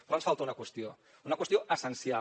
però ens falta una qüestió una qüestió essencial